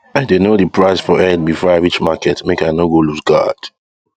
i dey know the price for head before i reach market make i no go looseguard